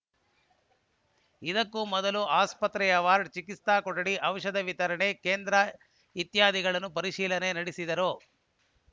ಇದಕ್ಕೂ ಮೊದಲು ಆಸ್ಪತ್ರೆಯ ವಾರ್ಡ್‌ ಚಿಕಿತ್ಸಾ ಕೊಠಡಿ ಔಷಧ ವಿತರಣೆ ಕೇಂದ್ರ ಇತ್ಯಾದಿಗಳನ್ನು ಪರಿಶೀಲನೆ ನಡೆಸಿದರು